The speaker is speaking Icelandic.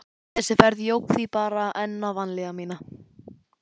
Þessi ferð jók því bara enn á vanlíðan mína.